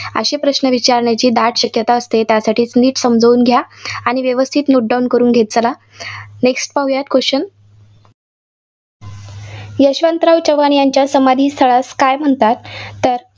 असे प्रश्न विचारण्याची दाट शक्यता असते. त्यासाठीच नीट समजून घ्या आणि व्यवस्थित note down करून घेत चला. next पाहूयात question यशवंतराव चव्हाण यांच्या समाधीस्थळास काय म्हणतात? तर